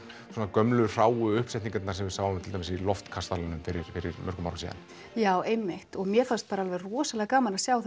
gömlu hráu uppsetningarnar sem við sáum til dæmis í loftkastalanum fyrir mörgum árum já einmitt og mér fannst rosalega gaman að sjá